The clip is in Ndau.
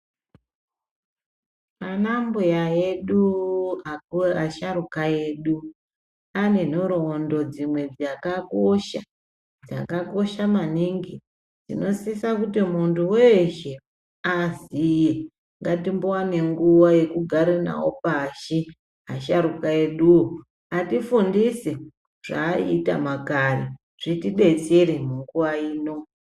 Ana mbuya edu asharuka edu ane nhorondo dzimwe dzakakosha ,dzakakosha maningi dzinosisa kuti muntu weshe aziye ngatiwane nguwa yekugara nawo pashi asharuka eduwo atifundise zvaaita makare zvitidetsere munguwa ino.